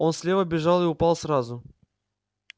он слева бежал и упал сразу